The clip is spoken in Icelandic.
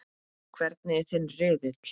Hvernig er þinn riðill?